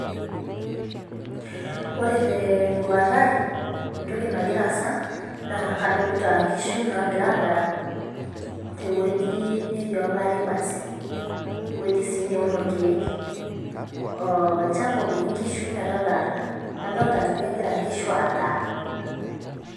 Ore teduata ai.entoki nagira aasa. naa kadolita nkishu naagira adaa, te wueji netii olari basi. ewueji sii neuni irkeek. olchampa opiki nkishu metadaata. adolta ajo kegira nkishu adaa.